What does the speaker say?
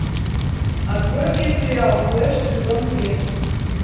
открой мне сериал флэш сезон три